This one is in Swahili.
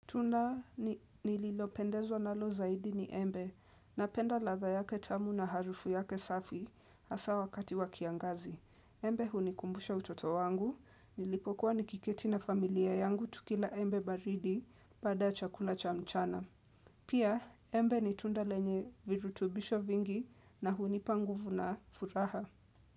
Tunda nililopendezwa nalo zaidi ni embe na penda ladha yake tamu na harufu yake safi haswa wakati wakiangazi. Embe hunikumbusha utoto wangu, nilipokuwa nikiketi na familia yangu tukila embe baridi pada chakula cha mchana. Pia embe nitunda lenye virutubisho vingi na hunipanguvu na furaha.